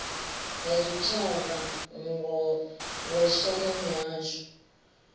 ha zwitshavha ngos na mihasho